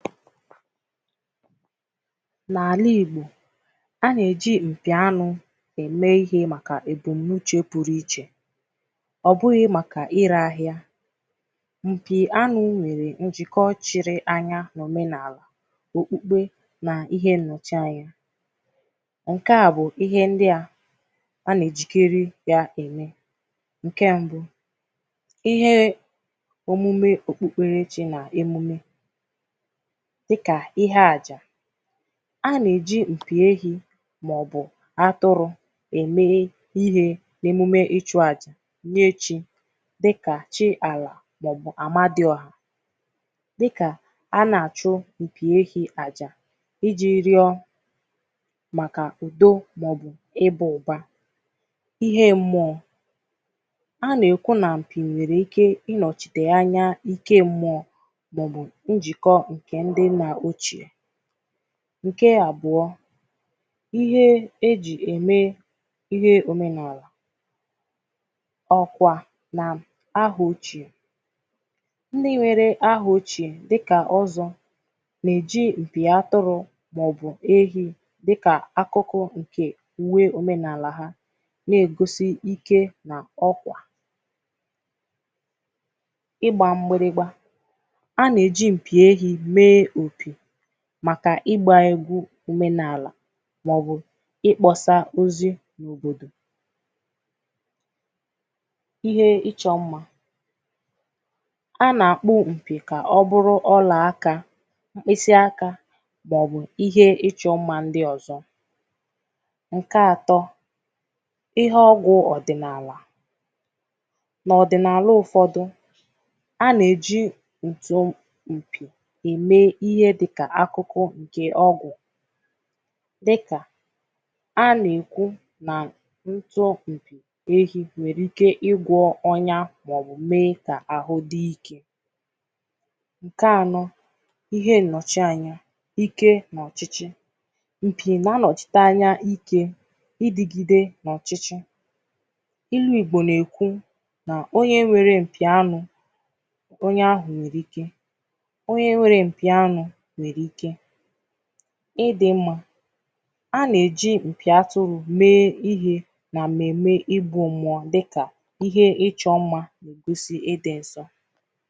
N’ala Igbò a na-eji mpì anụ̀ eme ihe makà ebumunuche pụrụ ichè ọ bụghị̀ makà ire ahịà mpì anụ̀ nwere njiko chịrị anya n’omenaalà okpukpe n’ihe nnọchị̀ anya nke à bụ̀ ihe ndị à a na-ejikeri ya emè nke mbụ̀ ihee omume okpukpere chi na emume dịkà ihe ajà a na-eji mpì ehì maọ̀bụ̀ atụrụ emeghe ihe emume ịchụ ajà nye chi dịkà chi alà maọ̀bụ̀ amadịọhà dịkà a na-achụ̀ mpì ehi ajà iji rịọ makà udo maọ̀bụ̀ ịba ụbà ihe mmụọ a na-ekwu na mpì nwere ike inọchite anya ike mmụọ maọ̀bụ̀ njiko nke ndị nna ochè nke abụọ̀ ihe eji eme ihe omenaalà ọkwa na aha ochè ndị nwere aha ochè dịkà ọzọ na-eji mpì atụrụ maọ̀bụ̀ ehi dịkà akụkọ̀ nke uwe omenaalà ha na-egosi ike na ọkwà ịgba mgbịrịgba a na-eji mpì ehi mee okē makà ịgbà egwu omenaalà maọ̀bụ̀ ịkpọsa ozi n’òbodò ihe ịchọ mmà a na-akpọ̀ mpì ka ọ bụrụ̀ ọlà akà mkpịsị akà maọ̀bụ̀ ihe ịchọ̀ mmà ndị ọzọ̀ nke atọ ihe ọgwụ̀ ọdịnaalà n’ọdịnaalà ụfọdụ̀ a na-eji nti ụmụ̀ nkè eme ihe dịkà akụkọ̀ dị ọgwụ̀ dịkà a na-ekwu na ntọ u ehi nwere ike ịgwọ̀ ọnya maọbụ̀ mee ka ahụ̀ dị ike nke anọ̀ ihe nnochi anya ike na ọchịchị mpì na-anọchite anya ike idigide n’ọchịchị ilu Igbò na-ekwù na onye nwere mpì anụ̀ onye ahụ nwere ike onye nwere mpì anụ̀ nwere ike ịdị mmà a na-eji mpì atụrụ mee ihe na mmeme ịbụọ mmụọ dịkà ihe ịchọ mmà kwusi ịdị nsọ